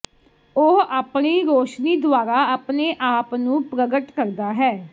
ਉਹ ਆਪਣੀ ਰੋਸ਼ਨੀ ਦੁਆਰਾ ਆਪਣੇ ਆਪ ਨੂੰ ਪ੍ਰਗਟ ਕਰਦਾ ਹੈ